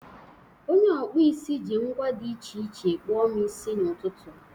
Onye ọkpụ isi ji ngwa dị iche iche kpụọ m isi n'ụtụtụ.